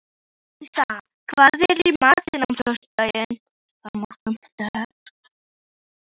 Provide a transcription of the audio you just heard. Sissa, hvað er í matinn á föstudaginn?